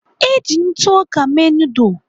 Eji ntụ ọka mee noodul.